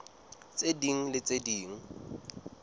tse ding le tse ding